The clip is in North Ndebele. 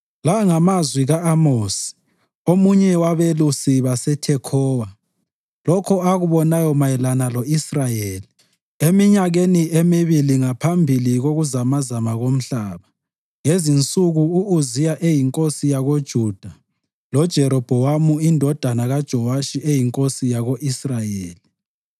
La ngamazwi ka-Amosi, omunye wabelusi baseThekhowa, lokho akubonayo mayelana lo-Israyeli eminyakeni emibili ngaphambi kokuzamazama komhlaba, ngezinsuku u-Uziya eyinkosi yakoJuda loJerobhowamu indodana kaJowashi eyinkosi yako-Israyeli.